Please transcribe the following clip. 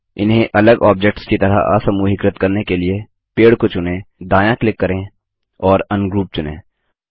इन्हें अलग ऑब्जेक्ट्स की तरह असमूहीकृत करने के लिए पेड़ को चुनें दायाँ क्लिक करें और अनग्रुप चुनें